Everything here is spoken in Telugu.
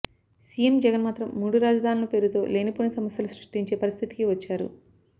సీఎం జగన్ మాత్రం మూడు రాజధానులు పేరుతో లేనిపోని సమస్యలు సృష్టించే పరిస్థితికి వచ్చారు